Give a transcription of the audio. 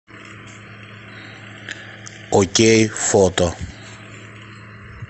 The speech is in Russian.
окей фото